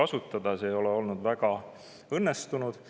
See ei ole olnud väga õnnestunud.